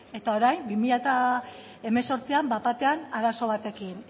eta orain bi mila hemezortzian bapatean arazo batekin